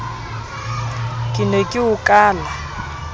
ke ne ke o kala